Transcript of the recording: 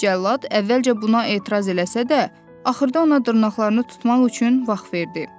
Cəllad əvvəlcə buna etiraz eləsə də, axırda ona dırnaqlarını tutmaq üçün vaxt verdi.